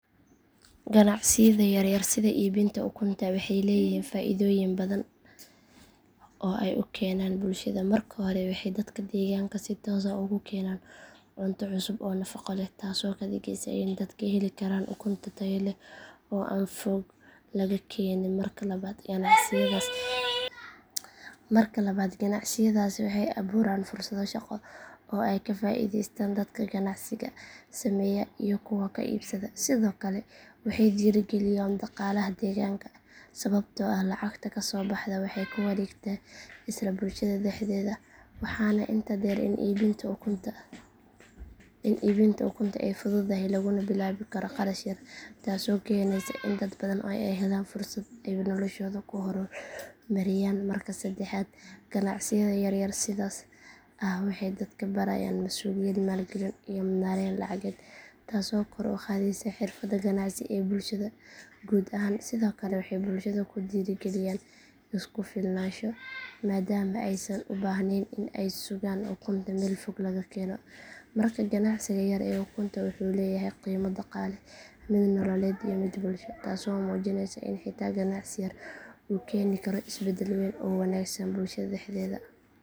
Ganacsiyada yaryar sida iibinta ukunta waxay leeyihiin faa'iidooyin badan oo ay u keenaan bulshada marka hore waxay dadka deegaanka si toos ah ugu keenaan cunto cusub oo nafaqo leh taasoo ka dhigaysa in dadka heli karaan ukunta tayo leh oo aan fog laga keenin marka labaad ganacsiyadaasi waxay abuuraan fursado shaqo oo ay ka faa’iidaystaan dadka ganacsiga sameeya iyo kuwa ka iibsada sidoo kale waxay dhiirigeliyaan dhaqaalaha deegaanka sababtoo ah lacagta ka soo baxda waxay ku wareegtaa isla bulshada dhexdeeda waxaana intaa dheer in iibinta ukunta ay fududahay laguna bilaabi karo qarash yar taasoo keenaysa in dad badan ay helaan fursad ay noloshooda ku horumariyaan marka saddexaad ganacsiyada yaryar sidaas ah waxay dadka barayaan masuuliyad maalgelin iyo maarayn lacageed taasoo kor u qaadaysa xirfadda ganacsi ee bulshada guud ahaan sidoo kale waxay bulshada ku dhiirigeliyaan isku filnaansho maadaama aysan u baahnayn in ay sugaan ukunta meel fog laga keeno markaa ganacsiga yar ee ukunta wuxuu leeyahay qiimo dhaqaale mid nololeed iyo mid bulsho taasoo muujinaysa in xitaa ganacsi yar uu keeni karo isbeddel weyn oo wanaagsan bulshada dhexdeeda